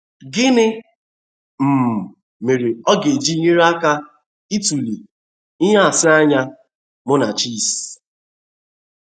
Gịnị um mere ọ ga-eji nyere aka ịtụle nhụsianya Munachi’s?